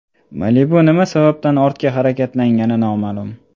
Malibu nima sababdan ortga harakatlangani noma’lum.